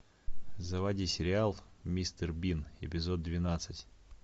заводи сериал мистер бин эпизод двенадцать